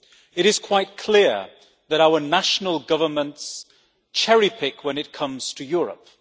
It is quite clear that our national governments cherry pick when it comes to Europe.